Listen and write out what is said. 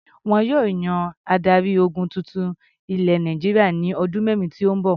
Wọn yóò yan adarí-ogun tuntun ilẹ̀ Nàìjíríà ní ọdún mẹ́rin tó ń bọ̀.